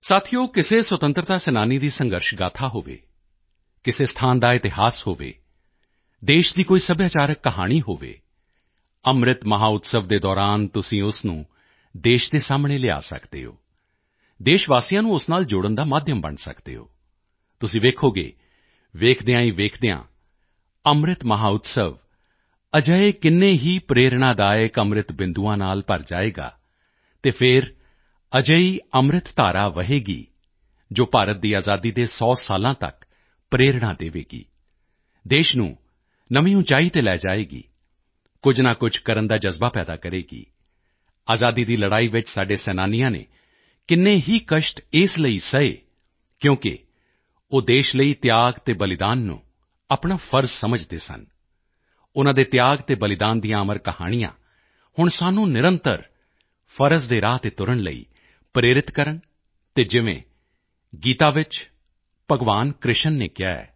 ਸਾਥੀਓ ਕਿਸੇ ਸੁਤੰਤਰਤਾ ਸੈਨਾਨੀ ਦੀ ਸੰਘਰਸ਼ ਗਾਥਾ ਹੋਵੇ ਕਿਸੇ ਸਥਾਨ ਦਾ ਇਤਿਹਾਸ ਹੋਵੇ ਦੇਸ਼ ਦੀ ਕੋਈ ਸੱਭਿਆਚਾਰਕ ਕਹਾਣੀ ਹੋਵੇ ਅੰਮ੍ਰਿਤ ਮਹੋਤਸਵ ਦੇ ਦੌਰਾਨ ਤੁਸੀਂ ਉਸ ਨੂੰ ਦੇਸ਼ ਦੇ ਸਾਹਮਣੇ ਲਿਆ ਸਕਦੇ ਹੋ ਦੇਸ਼ ਵਾਸੀਆਂ ਨੂੰ ਉਸ ਨਾਲ ਜੋੜਨ ਦਾ ਮਾਧਿਅਮ ਬਣ ਸਕਦੇ ਹੋ ਤੁਸੀਂ ਵੇਖੋਗੇ ਵੇਖਦਿਆਂ ਹੀ ਵੇਖਦਿਆਂ ਅੰਮ੍ਰਿਤ ਮਹੋਤਸਵ ਅਜਿਹੇ ਕਿੰਨੇ ਹੀ ਪ੍ਰੇਰਣਾਦਾਇਕ ਅੰਮ੍ਰਿਤ ਬਿੰਦੂਆਂ ਨਾਲ ਭਰ ਜਾਵੇਗਾ ਅਤੇ ਫਿਰ ਅਜਿਹੀ ਅੰਮ੍ਰਿਤ ਧਾਰਾ ਵਹੇਗੀ ਜੋ ਭਾਰਤ ਦੀ ਆਜ਼ਾਦੀ ਦੇ 100 ਸਾਲਾਂ ਤੱਕ ਪ੍ਰੇਰਣਾ ਦੇਵੇਗੀ ਦੇਸ਼ ਨੂੰ ਨਵੀਂ ਉਚਾਈ ਤੇ ਲੈ ਜਾਵੇਗੀ ਕੁਝ ਨਾ ਕੁਝ ਕਰਨ ਦਾ ਜਜ਼ਬਾ ਪੈਦਾ ਕਰੇਗੀ ਆਜ਼ਾਦੀ ਦੀ ਲੜਾਈ ਵਿੱਚ ਸਾਡੇ ਸੈਨਾਨੀਆਂ ਨੇ ਕਿੰਨੇ ਹੀ ਕਸ਼ਟ ਇਸ ਲਈ ਸਹੇ ਕਿਉਂਕਿ ਉਹ ਦੇਸ਼ ਲਈ ਤਿਆਗ ਅਤੇ ਬਲਿਦਾਨ ਨੂੰ ਆਪਣਾ ਫ਼ਰਜ਼ ਸਮਝਦੇ ਸਨ ਉਨ੍ਹਾਂ ਦੇ ਤਿਆਗ ਅਤੇ ਬਲਿਦਾਨ ਦੀਆਂ ਅਮਰ ਕਹਾਣੀਆਂ ਹੁਣ ਸਾਨੂੰ ਨਿਰੰਤਰ ਫ਼ਰਜ਼ ਦੇ ਰਾਹ ਤੇ ਤੁਰਨ ਲਈ ਪ੍ਰੇਰਿਤ ਕਰਨ ਅਤੇ ਜਿਵੇਂ ਗੀਤਾ ਵਿੱਚ ਭਗਵਾਨ ਕ੍ਰਿਸ਼ਨ ਨੇ ਕਿਹਾ ਹੈ